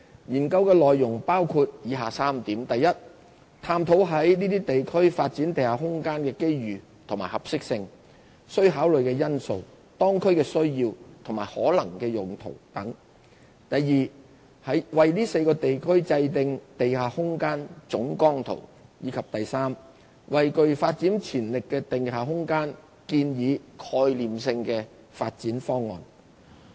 研究內容包括以下3點： i 探討在這些地區發展地下空間的機遇和合適性、須考慮的因素、當區的需要及可能用途等；為這4個地區制訂地下空間總綱圖；以及為具發展潛力的地下空間建議概念性的發展方案。